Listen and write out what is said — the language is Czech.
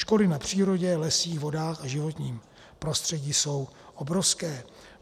Škody na přírodě, lesích, vodách a životním prostředí jsou obrovské.